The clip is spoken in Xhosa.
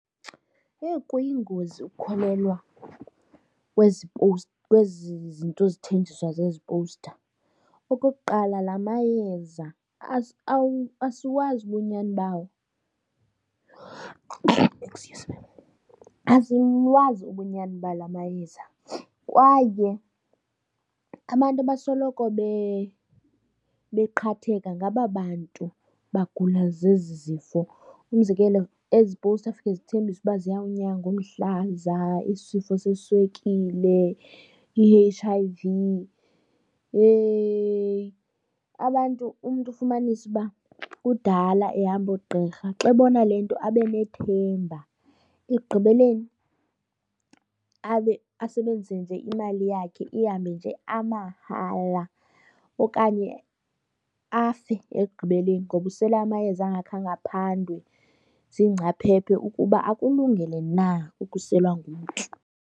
Owu, kuyingozi ukukholelwa kwezi kwezi zinto zithenjiswa zezi powusta. Okokuqala la mayeza asiwazi ubunyani bawo, excuse me. Asiwazi ubunyani ba la mayeza kwaye abantu abasoloko beqhatheka ngaba bantu bagula zezi zifo. Umzekelo ezi powusta zifike zithembisa uba ziyawunyanga umhlaza, isifo seswekile, i-H_I_V. Yheyi! Abantu umntu ufumanise uba kudala ehamba oogqirha xa ebona le nto abe nethemba, ekugqibeleni abe, asebenzise nje imali yakhe ihambe nje amahala. Okanye afe ekugqibeleni ngoba usele amayeza angakhange aphandwe ziingcaphephe ukuba akulungele na ukuselwa ngumntu.